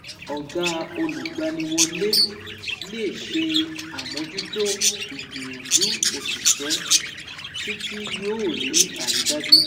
Ọ̀gá olùgbaniwọlé lè ṣe àmójútó ìgbìyànjú òṣìṣẹ́ títí yóò rí àrídájú.